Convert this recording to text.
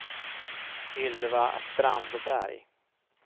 Ylva Strandberg